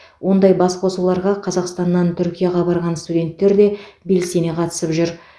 ондай басқосуларға қазақстаннан түркияға барған студенттер де белсене қатысып жүр